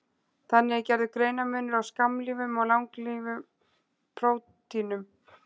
Þannig er gerður greinarmunur á skammlífum og langlífum prótínum.